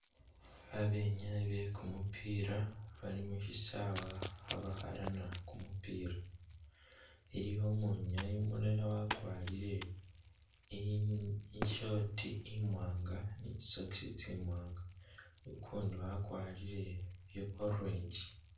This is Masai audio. Babenyayi bekumupila bali mushisawa khabakhalana kumupila iliwo umwinyayi umulala wakwalire i... i short imwaanga ni tsi socks tsimwaanga ukundi wakwalire bya orange